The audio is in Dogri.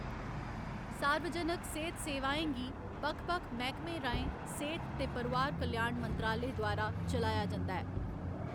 सार्वजनक सेह्त सेवाएं गी बक्ख बक्ख मैह्‌कमें राहें सेह्त ते परोआर कल्याण मंत्रालय द्वारा चलाया जंदा ऐ।